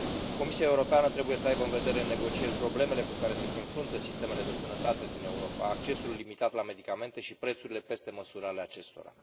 Comisia Europeană trebuie să aibă în vedere în negocieri problemele cu care se confruntă sistemele de sănătate din Europa, accesul limitat la medicamente și prețurile peste măsură ale acestora.